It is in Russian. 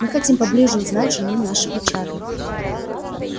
мы хотим поближе узнать жену нашего чарли